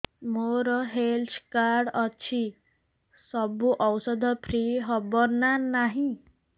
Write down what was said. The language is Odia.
ମୋର ହେଲ୍ଥ କାର୍ଡ ଅଛି ସବୁ ଔଷଧ ଫ୍ରି ହବ ନା ନାହିଁ